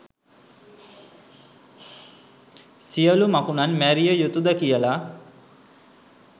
සියළු මකුණන් මැරිය යුතුද කියලා